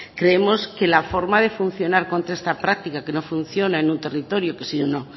creemos que la forma de funcionar contra esta práctica que no funciona en un territorio sino